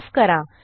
माफ करा